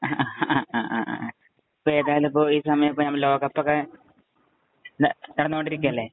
ഇപ്പൊ ഏതായാലുംലോകകപ്പൊക്കെ നടന്നോണ്ടിരിക്കയല്ലേ.